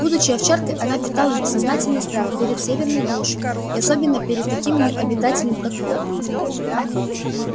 будучи овчаркой она питала бессознательный страх перед северной глушью и особенно перед таким её обитателем как волк